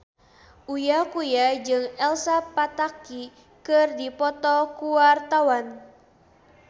Uya Kuya jeung Elsa Pataky keur dipoto ku wartawan